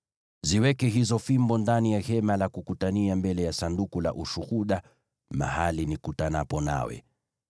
Ziweke hizo fimbo ndani ya Hema la Kukutania mbele ya Sanduku la Ushuhuda, mahali nikutanapo nawe.